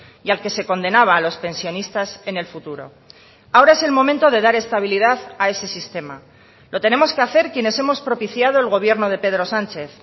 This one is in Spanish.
y al que se condenaba a los pensionistas en el futuro ahora es el momento de dar estabilidad a ese sistema lo tenemos que hacer quienes hemos propiciado el gobierno de pedro sánchez